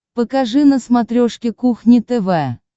покажи на смотрешке кухня тв